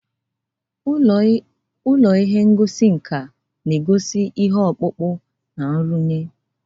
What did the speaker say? Ụlọ ihe ngosi nka na-egosi ihe ọkpụkpụ na nrụnye.